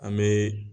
An bɛ